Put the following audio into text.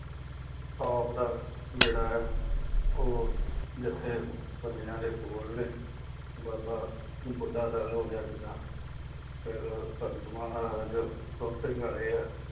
top ਦਾ ਜਿਹੜਾ ਹੈ ਉਹ ਜਿੱਥੇ ਬੰਦਿਆਂ ਦੇ ਕੋਲ ਨੇ, ਬਾਬਾ ਬੁੱਢਾ ਦਲ ਹੋ ਗਿਆ ਜਿਦਾਂ ਫੇਰ ਸੰਤ ਮਹਾਰਾਜ ਸਿੰਘ ਵਾਲੇ ਆ,